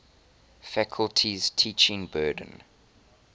faculty's teaching burden